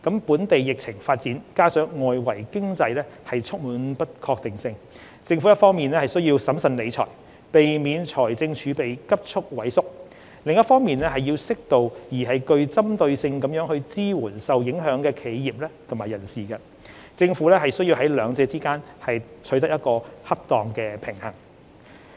本地疫情發展加上外圍經濟充滿不確定性，政府一方面需要審慎理財，避免財政儲備急速萎縮，另一方面要適度而具針對性地支援受影響的企業及人士。政府需在兩者之間取得恰當的平衡。